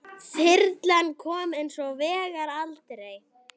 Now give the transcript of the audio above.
Þyrlan kom hins vegar aldrei.